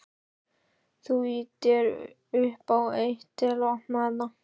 Þú ýtir upp á eitt. til að opna þetta.